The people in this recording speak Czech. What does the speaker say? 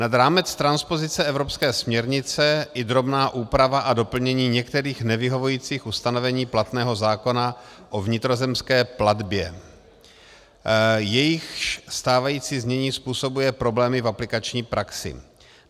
Nad rámec transpozice evropské směrnice i drobná úprava a doplnění některých nevyhovujících ustanovení platného zákona o vnitrozemské plavbě, jejichž stávající znění způsobuje problémy v aplikační praxi.